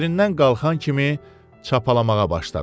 Yerindən qalxan kimi çapalamağa başladı.